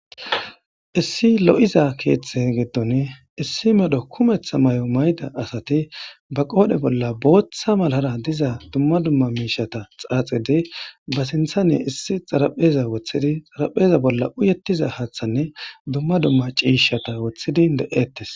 Issi lo'iza keetha gidoni issi medho kumetha medho mayo mayida asati ba qoodhe bolla bootha malara diza duma duma xaaxidi Ba sinthan I issi xarapheza wothidi xarapheza bolla uyetiza haatha me duma cishata woothidi de'etees